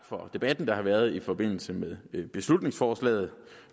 for debatten der har været i forbindelse med beslutningsforslaget